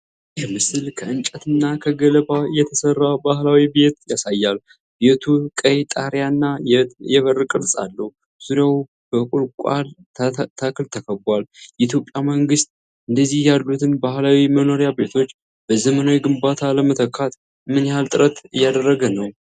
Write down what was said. ይህ ምስል ከ እንጨትና ከገለባ የተሠራ ባህላዊ ቤት ያሳያል። ቤቱ ቀይ ጣሪያና የበር ቅርጽ አለው፤ ዙሪያው በ ቁልቋል ተክል ተከቧል። የኢትዮጵያ መንግሥት እንደዚህ ያሉትን ባህላዊ የመኖሪያ ቤቶችን በዘመናዊ ግንባታ ለመተካት ምን ያህል ጥረት እያደረገ ነው?